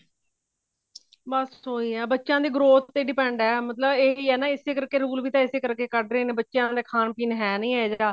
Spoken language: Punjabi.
ਬਸ ਉਹੀ ਹੈ ਬੱਚਿਆ ਦੀ growth ਤੇ depend ਹੈ ਮਤਲਬ ਇਹੀ ਹੈ ਨਾ ਇਸੇ ਕਰਕੇ rule ਵੀ ਤਾ ਇਸੇ ਕਰਕੇ ਕੱਢ ਰਹੇ ਨੇ ਬੱਚਿਆ ਦਾ ਖਾਣ ਪੀਣ ਹੈ ਨਹੀਂ ਐ ਜਿਹੜਾ